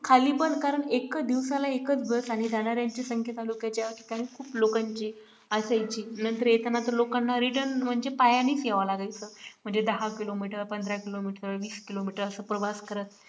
खाली पण कारण एकच दिवसाला एकच बस आणि जाणाऱ्यांची संख्या तालुक्याच्या ठिकाणी खूप लोकांची असायची नंतर येताना तर लोकांना return म्हणजे पायानेच यावं लागायचं म्हणजे दहा kilometer पंधरा kilometer वीस kilometer अस प्रवास करत